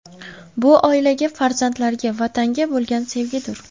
Bu oilaga, farzandlarga, Vatanga bo‘lgan sevgidir.